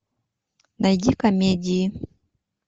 найди комедии